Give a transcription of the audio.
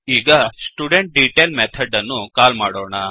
ಈಗ student detail method ಅನ್ನು call ಮಾಡೋಣ